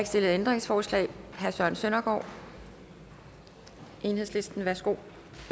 stillet ændringsforslag herre søren søndergaard enhedslisten ønsker